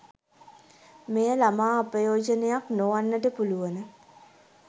මෙය ළමා අපයෝජනයක් නොවන්නට පුළුවන